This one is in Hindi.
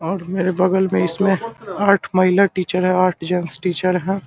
और मेरे बगल में इसमें आठ महिला टीचर है आठ जेन्ट्स टीचर है।